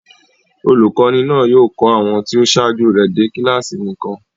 Olùkọ́ní náà yóò kọ́ àwọn tí ó ṣáájú rẹ̀ dé kíláàsì nìkan.